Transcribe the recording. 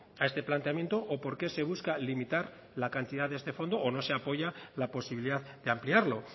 a este planteamiento o por qué se busca limitar la cantidad de este fondo o no se apoya la posibilidad de ampliarlo